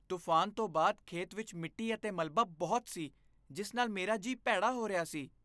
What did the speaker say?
ਤੂਫਾਨ ਤੋਂ ਬਾਅਦ ਖੇਤ ਵਿੱਚ ਮਿੱਟੀ ਅਤੇ ਮਲਬਾ ਬਹੁਤ ਸੀ, ਜਿਸ ਨਾਲ ਮੇਰਾ ਜੀਆ ਭੈੜਾ ਹੋ ਰਿਹਾ ਸੀ।